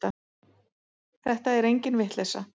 Þetta er engin vitleysa.